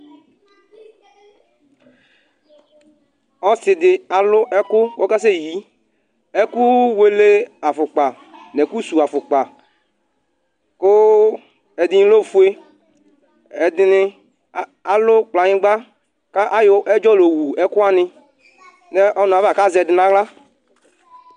ɔse di alo ɛko ko ɔka sɛ yi ɛko wele afokpa no ɛko su afokpa ko ɛdi lɛ ofue ɛdi ni alo kplayigba ko ayɔ ɛdzɔ la owu ɛko wani ko azɛ ɛdi no ala